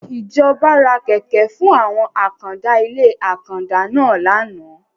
Ìjọba ra Kẹ̀kẹ́ fún àwọn àkàndá ilé àkàndá náà láánaà.